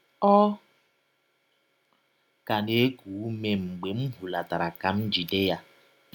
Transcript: Ọ ka na - ekụ ụme mgbe m hụlatara ka m jide ya.